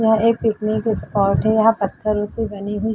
यहाँ एक picnic spot है यहाँ पत्थरों से बनी हुई --